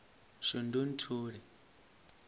shundunthule